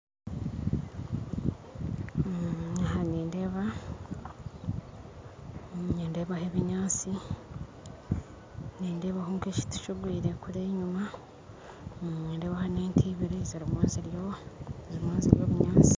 Aha nindeeba nindebaho ebinyaatsi nindebaho nk'ekiti kigwire kuriya enyuma nindebaho n'ente ibiri zirimu nizirya zirimu nizirya obunyaatsi.